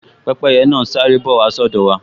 Pẹ́pẹ́yẹ náà n sáré bọ̀ wá sí ọ̀dọ̀ wa